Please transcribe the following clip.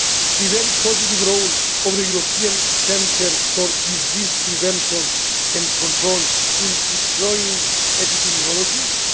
the very positive role of the European Centre for Disease Prevention and Control in deploying epidemiologists